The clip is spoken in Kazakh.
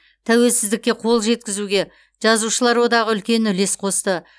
тәуелсіздікке қол жеткізуге жазушылар одағы үлкен үлес қосты